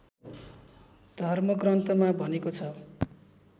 धर्मग्रन्थमा भनेको छ